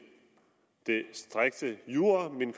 striks jura men